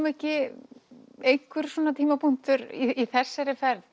ekki einhver tímapunktur í þessari ferð